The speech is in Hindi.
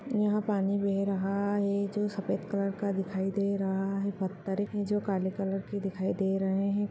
यहाँ पानी बह रहा है जो सफ़ेद कलर का दिखाई दे रहा है| पत्थर हैं जो काले कलर के दिखाई दे रहे हैं।